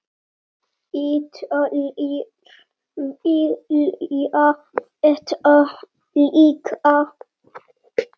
Ítalir vilja þetta líka.